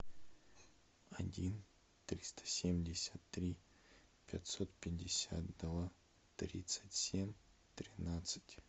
один триста семьдесят три пятьсот пятьдесят два тридцать семь тринадцать